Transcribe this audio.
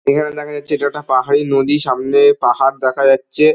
এখানে দেখা যাচ্ছে এটা একটা পাহাড়ি নদি ।সামনে পাহাড় দেখা যাচ্ছে।